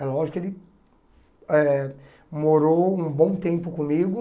É lógico que ele eh morou um bom tempo comigo.